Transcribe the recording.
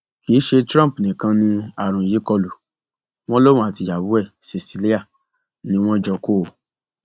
kì í ṣe trump nìkan ni àrùn yìí kọlù wọn lòun àti ìyàwó ẹ cecilia ni wọn jọ kó o